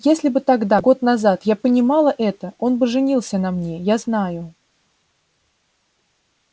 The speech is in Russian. если бы тогда год назад я понимала это он бы женился на мне я знаю